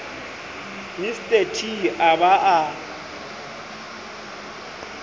mr t a ba a